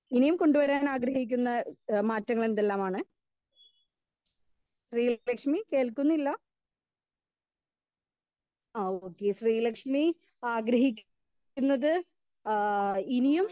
speaker 2 ഇനിയും കൊണ്ടുവരാൻ ആഗ്രഹിക്കുന്ന മാറ്റങ്ങൾ എന്തെല്ലാമാണ് കേൾ ശ്രീലക്സ്മി കേൾക്കുന്നില്ല ആ ഓക്കേ ശ്രീ ലക്ഷ്മി ആഗ്രഹി ക്കുന്നത് ആ ഇനിയും